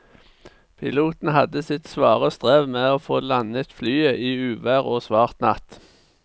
Piloten hadde sitt svare strev med å få landet flyet i uvær og svart natt.